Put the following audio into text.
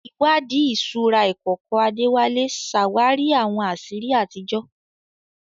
Ìwádìí ìṣúra ìkọ̀kọ̀ Adewale ṣàwárí àwọn àṣírí àtijọ́.